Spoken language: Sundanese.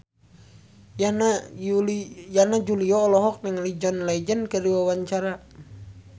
Yana Julio olohok ningali John Legend keur diwawancara